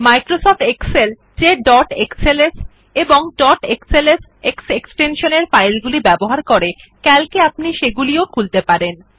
Microsoft Excel যে dot XLS এবং dot XLSX এক্সটেনশনের ফাইলগুলি ব্যবহার করে ক্যালক এ আপনি সেগুলিও খুলতে পারেন